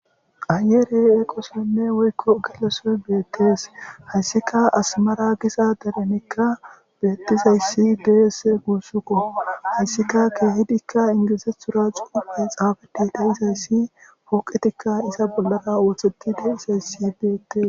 Aayeerey eqosenne woykko geleso beettees hayssika asmara gisa derenekka beettizayssi deesse guussuko hayssika kehidikka ingizethura cuuphe xaafede da izayssi pooqetikka iza bollara ooththetide isayssi beettes.